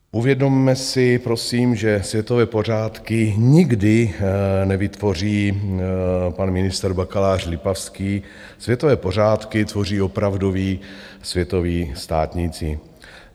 Uvědomme si prosím, že světové pořádky nikdy nevytvoří pan ministr bakalář Lipavský, světové pořádky tvoří opravdoví světoví státníci.